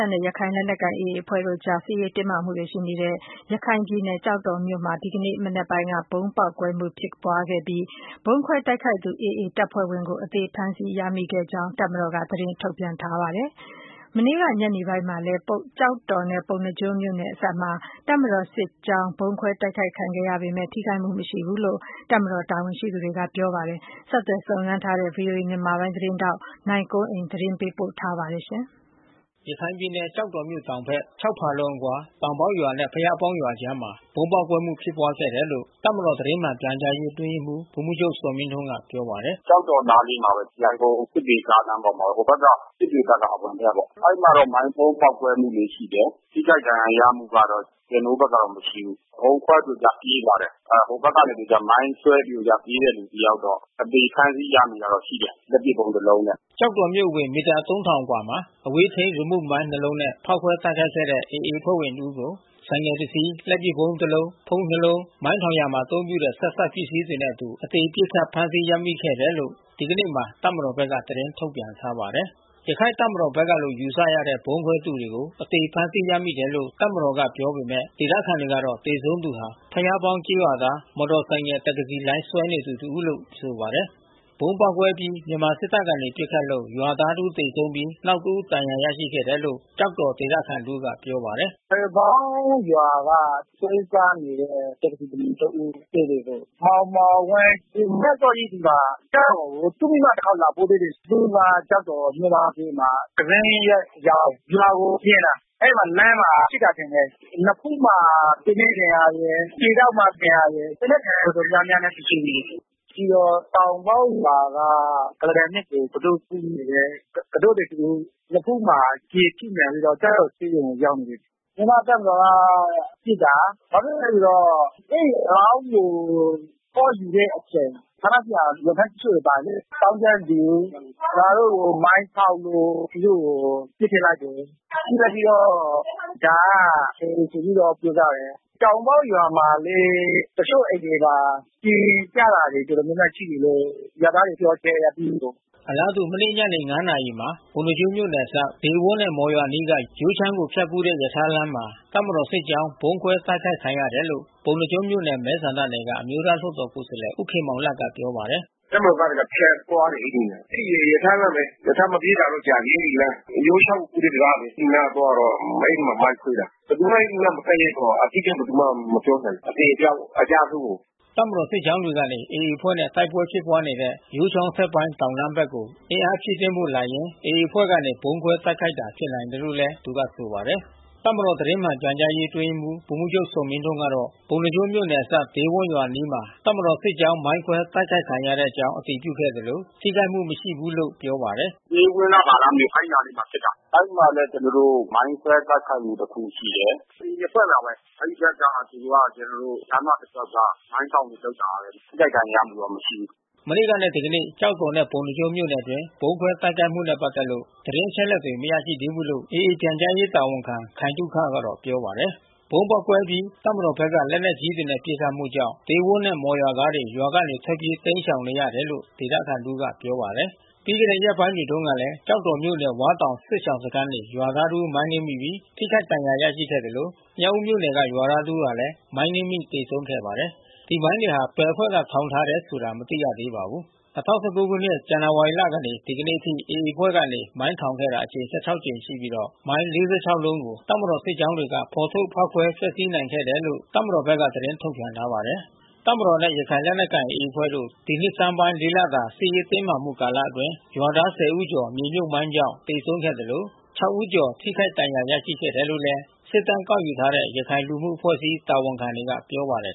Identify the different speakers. Speaker 1: ာ်နဲ့ ရခိုင်လက်နက်ကိုင် AA အဖွဲ့အကြား စစ်ရေးတင်းမာမှုတွေ ရှိနေတဲ့ ရခိုင်ပြည်နယ် ကျောက်တော်မြို့မှာ ဒီကနေ့ မနက်ပိုင်းက ဗုံးပေါက်ကွဲမှု ဖြစ်ပွါးခဲ့ဲပြီး ဗုံးခွဲတိုက်ခိုက်သူ AA တပ်ဖွဲ့ဝင်ကို အသေဖမ်းဆီးခဲ့တဲ့အကြောင်း တပ်မတော်က သတင်းထုတ်ပြန်ထားပါတယ်။ မနေ့က ညနေပိုင်းမှာလည်း ကျောက်တော်နဲ့ ပုဏ္ဏားကျွန်းမြို့နယ် အစပ်မှာ တပ်မတော်စစ်ကြောင်း ဗုံးခွဲတိုက်ခိုက်ခံရပေမဲ့ ထိခိုက်မှုမရှိဘူးလို့ တပ်မတော်တာဝန်ရှိသူတွေက ပြောပါတယ်။ ဆက်သွယ်စုံစမ်းထားတဲ့ ဗွီအိုအေမြန်မာပိုင်း သတင်း ထောက်နိုင်ကွန်းအိန်ကနေ သတင်းပေးပို့ထားပါတယ်။
Speaker 2: ရခိုင်ပြည်နယ်ကျောက်တော်မြို့တောင်ဘက် ၆ ဖါလုံခန့်အကွာ တောင်ပေါက်ရွာနဲ့ ဘုရားပေါင်းရွာကြားမှာ ဗုံးပေါက်ကွဲမှု ဖြစ်ပွါးခဲ့တယ်လို့ တပ်မတော် သတင်းမှန်ပြန်ကြားရေး အတွင်းရေးမှူး ဗိုလ်မှူးချုပ်ဇော်မင်းထွန်းက ပြောပါတယ်။
Speaker 1: “ကျောက်တော်နားလေးမှာပဲ။ ရန်ကုန်စစ်တွေ ကားလမ်းပေါ်မှာပဲ။ ဟိုဘက်က စစ်တွေဘက်က အဝင်ဘက်ကပေါ့။ အဲဒီဘက်က မိုင်းဗုံးပေါက်ကွဲမှု ရှိတယ်။ ထိခိုက်ဒဏ်ရာရမှုကတော့ ကျနော်တို့ဘက်ကတော့ မရှိဘူး။ ဗုံးခွဲသူက ပြေးလာတယ်။ ဟိုဘက်ကနေပြီးတော့ မိုင်းဆွဲသူက ပြေးတဲ့သူတယောက်တော့ အသေဖမ်းဆီးရမိတာတော့ ရှိတယ်။ လက်ပစ်ဗုံးတလုံးနဲ့။
Speaker 2: " ကျောက်တော်မြို့အဝင် မီတာ ၃၀၀၀ ခန့်အကွာမှာ အဝေးထိန်း ရီမုမိုင်း ၂ လုံးနဲ့ မိုင်းဖောက်ခွဲ တိုက်ခိုက်ခဲ့တဲ့ AA အဖွဲ့ဝင်တစ်ဦးကို ဆိုင်ကယ် ၁ စီး၊ လက်ပစ်ဗုံး ၁ လုံး၊ ဖုန်း ၂ လုံး၊ မိုင်းထောင်ရာမှာအသုံးပြုတဲ့ ဆက်စပ်ပစ္စည်းတွေ နှင့်အတူ အသေပစ်ခတ် ဖမ်းဆီးရမိခဲ့တယ်လို့လည်း ဒီကနေ့မှာ တပ်မတော်ဘက်က သတင်းထုတ်ပြန်ထားပါတယ်။ ရခိုင့်တပ်မတော်ဘက်ကလို့ ယူဆရတဲ့ ဗုံးခွဲသူကို အသေဖမ်းဆီးရမိတယ်လို့ တပ်မတော်ကပြောပေမဲ့၊ ဒေသခံတွေကတော့ သေဆုံးသူဟာ ဘုရားပေါင်းကျေးရွာသား မော်တော်ဆိုင်ကယ် တက္ကစီလိုင်း ဆွဲနေသူတဦးလို့ ဆိုပါတယ်။ ဗုံးပေါက်ကွဲအပြီး မြန်မာစစ်တပ်ကနေ ပစ်ခတ်လို့ ရွာသားတဦးသေဆုံးပြီး နောက်တဦးဒဏ်ရာ ရရှိခဲ့တယ်လို့ ကျောက်တ
Speaker 1: ော်ဒေသခံတဦးက ပြောပါတယ်။ “ဘုရားပေါင်းရွာကနေ ဆွဲစားနေတဲ့ တက္ကစီသမား မောင်မောင်ဝင်း သူမနက်အစောကြီးသူက ကျောက် တော်ကို သူ့မိန်းမတခေါက်လာပို့သေးတယ်။ သူ့မိန်းမကျောက်တော်မြို့မဈေးမှာ ကန်ဇွန်းရွက်ရောင်းတယ်။ ရွာကို ပြန်တာ အဲဒီမှာ လမ်းမှာပစ်တာထင်တယ်။ နဖူးမှာ သေနတ်ဒဏ်ရာရယ်။ ခြေထောက်မှာ ဒဏ်ရာရယ်။ သေနတ်ဒဏ်ရာ တော်တော်များများနဲ့ သူသေနေတယ်။ ပြီးတော့တောင်ပေါက်ရွာက ကုလားတန်မြစ်ကို ကူတို့ကူးနေတဲ့ ကူတို့လှေ တဦး နဖူးမှာ ကျည်ထိမှန်ပြီးတော့ ကျောက်တော်ဆေးရုံကို ရောက်နေတယ်။ မြန်မာ့တပ်မတော်က ပစ်တာ။ ဘာဖြစ်လို့လည်းဆိုတော့ အဲဒီအလောင်းကို သွားယူတဲ့အချိန် ဌာနဆိုင်ရာဝန်ထမ်းတချို့လည်း ပါတယ်လေ။ သောင်းကျန်းသူ ငါတို့ကိုမိုင်းဖေါက်လို့ သူတို့ကို ပစ်ထည့်လိုက်တယ်။ ပစ်လိုက်ပြီးတော့ ဒါက AA ဆိုပြီးတော့ ပြောကြတယ်။”
Speaker 2: အလားတူ မနေ့ညနေ (၅) နာရီမှာ ပုဏ္ဏားကျွန်းမြို့နယ်အစပ် ဒေးဝန်းနဲ့ မော်ရွာအနီးက ယိုးချောင်းကို ဖြတ်ကူးရထားလမ်းမှာ တပ်မတော်စစ်ကြောင်း ဗုံးခွဲတိုက်ခိုက်ခံရတယ်လို့ ပုဏ္ဏားကျွန်းမြို့နယ် မဲဆန္ဒနယ်က အမျိုးသားလွှတ်တော်ကိုယ်စားလှယ် ဦးခင်မောင်လတ်ကပြောပါတယ်
Speaker 1: ။ “တပ်မတော်သားတွေကဖြတ်သွားတယ်အဲဒီနေရာ။ အဲဒီရထားလမ်းမှာပဲ။ ရထားတော့မပြေးတာကြာပြီးအဲဒီလမ်း။ ယိုးချောင်းကိုကူးတဲ့တံတားလေ။ အဲဒီနားသွားတော့ အဲဒီမှာမိုင်းခွဲတာ။ ဘယ်သူမှအဲဒီအနားမကပ်ရဲဘူး။ အတိအကျဘယ်သူမှမပြောရဲဘူး။ အသေအပျောက်အကျအဆုံးကို။”
Speaker 2: တပ်မတော်စစ်ကြောင်းတွေကနေ AA အဖွဲ့နဲ့တိုက်ပွဲဖြစ်ပွါးနေတဲ့ ယိုးချောင်းအထက်ပိုင်းတောင်တန်းဘက်ကို အင် အားဖြည့်တင်းဖို့လာရင်း AA အဖွဲ့ကနေ ဗုံးခွဲတိုက်ခိုက်တာ ဖြစ်နိုင်တယ်လို့လည်း သူကဆိုပါတယ်။ တပ်မတော် သတင်းမှန်ပြန်ကြားရေး အတွင်းရေးမှူးဗိုလ်မှူးချုပ် ဇော်မင်းထွန်းကတော့ ပုဏ္ဏားကျွန်းမြို့နယ်အစပ် ဒေးဝန်းရွာအနားမှာ တပ်မတော်စစ်ကြောင်း မိုင်းခွဲတိုက်ခိုက်ခံရကြောင်း အတည်ပြုခဲ့သလို ထိခိုက်မှုမရှိဘူးလို့ ပြောပါတယ်
Speaker 1: ။ “ဒေးဝန်းလား ဘာလားမသိဘူး... အဲဒီနားလေးမှာဖြစ်တာ။ အဲဒီမှာလည်း ကျနော်တို့ မိုင်းခွဲတိုက်ခိုက်မှု တခုရှိတယ်။ AA အဖွဲ့ပါပဲ။ အဲဒီဘက်မှာသူတို့က ကျနော်တို့ လမ်းမတလျှောက် မိုင်းထောင်တာ လုပ်တာ။ ထိခိုက်ဒဏ်ရာရမှုတော့မရှိဘူး။
Speaker 2: ” မနေ့ကနဲ့ ဒီကနေ့ကျောက်တော်နဲ့ ပုဏ္ဏားကျွန်းမြို့နယ်အတွင်း ဗုံးခွဲတိုက်ခိုက်မှုနဲ့ ပတ်သက်လို့ သတင်းအချက်အလက် မရရှိသေးဘူးလို့ AAပြန်ကြားရေး တာဝန်ခံခိုင်သုခကတော့ ပြောပါတယ်။ ဗုံးပေါက်ကွဲအပြီး တပ်မတော်ဘက်က လက်နက်ကြီးပစ်ခတ်မှုကြောင့် ဒေးဝန်းနဲ့မော်ရွာသားတွေ ရွာကနေထွက်ပြေး တိမ်းရှောင်နေရတယ်လို့ ဒေသခံတဦးက ပြောပါတယ်။ ပြီးခဲ့တဲ့ရက်ပိုင်းတွေတုန်းကလည်း ကျောက်တော်မြို့နယ် ဝါးတောင်စစ်ရှောင်စခန်းနေ ရွာသားတဦးမိုင်းနင်းမိပြီး ထိခိုက်ဒဏ်ရာရရှိခဲ့သလို မြောက်ဦးမြို့နယ်က ရွာသားတဦးဟာလည်းမိုင်း နင်းမိသေဆုံးခဲ့ပါတယ်။ ဒီမိုင်းတွေဟာ ဘယ်အဖွဲ့ထောင်ထားတယ်ဆိုတာ မသိရှိသေးပါဘူး။ ၂၀၁၉ ခုနှစ်၊ ဇန်နဝါရီလမှ ဒီကနေ့အထိ AA အဖွဲ့ကနေ မိုင်းထောင်ခဲ့တာအကြိမ် ၁၆ ကြိမ်ရှိပြီးတော့ မိုင်း ၄၆ လုံးကို တပ်မတော်စစ်ကြောင်းတွေက ဖော်ထုတ်ဖောက်ခွဲ ဖျက်ဆီးနိုင်ခဲ့ခဲ့တယ်လို့ တပ်မတော်ဘက်က သတင်း ထုတ်ပြန်ထားပါတယ်။ တပ်မတော်နဲ့ ရခိုင်လက်နက်ကိုင် AA အဖွဲ့တို့ ဒီနှစ်ဆန်းပိုင်း(၄) လတာ စစ်ရေးတင်းမာမှုကာလအတွင်း ရွာသား (၁၀) ဦးကျော် မြေမြှုပ်မိုင်းကြောင့် သေဆုံးခဲ့သလို (၆) ဦးကျော် ထိခိုက်ဒဏ်ရာ ရရှိခဲ့တယ်လို့လည်း စစ်တမ်းကောက်ယူထားတဲ့ ရခိုင်လူမှုအဖွဲ့အစည်း တာဝန်ခံတွေက ပြောပါတယ်